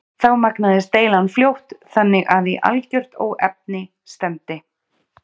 Þá magnaðist deilan fljótt þannig að í algert óefni stefndi.